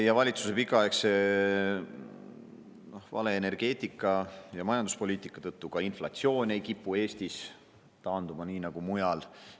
Ja valitsuse pikaaegse vale energeetika- ja majanduspoliitika tõttu ei kipu ka inflatsioon Eestis taanduma nii nagu mujal.